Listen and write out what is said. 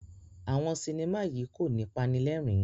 Awọn sinima yí ko ní panilerin